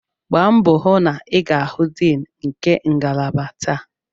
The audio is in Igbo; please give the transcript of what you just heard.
Gbaa mbọ hụ na ị ga-ahụ Dean nke ngalaba taa!